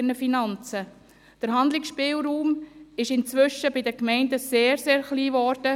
Ihr Handlungsspielraum ist inzwischen sehr, sehr klein geworden.